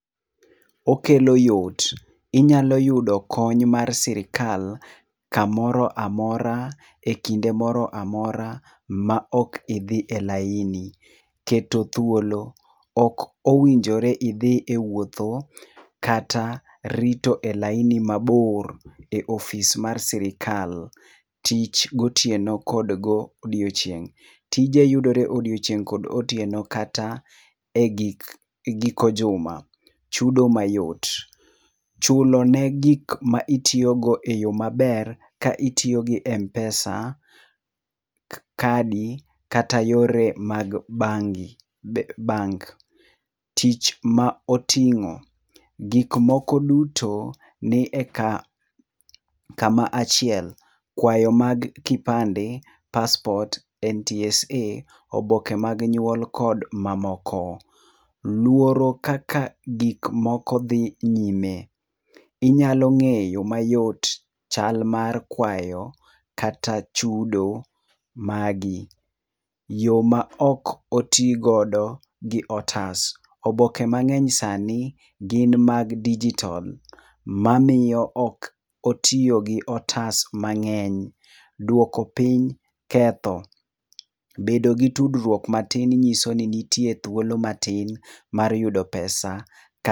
Okelo yot. Inyalo yudo kony mar sirkal kamoro amora, ekinde moro amora ma ok idhi e laini. Keto thuolo. Ok owinjore idhi e wuotho kata rito e laini mabor e ofis mar sirkal. Tich gotieno kod godiechieng'. Tije yudore odiechieng' kod otieno kata egik giko juma. Chudo mayot. Chulo negik ma itiyogo eyo maber ka itiyo gi m-pesa, kadi kata yore mag bangi bank . Tich ma oting'o. Gik moko duto ni eka kama achiel. Kwayo mag kipande, paspot, NTSA, oboke mag nyuol kod mamoko. Luoro kaka gik moko dhi nyime. Inyalo ng'eyo mayot chal mar kwayo kata chudo magi. Yo maok oti godo gi otas. Oboke mang'eny sani, gin mag dijitol mamiyo ok otiyo gi otas mang'eny. Duoko piny ketho. Bedo gi tudruok matin nyiso ni nitie thuolo matin mar yudo pesa ka